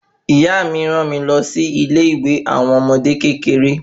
Ìyá mí ran mi lọ sí ilé ìwé àwọn ọmọdé kékeré